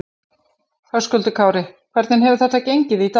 Höskuldur Kári: Hvernig hefur þetta gengið í dag?